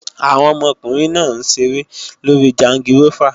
Àwọn ọmọkùnrin náà ń ṣeré lórí jangirófà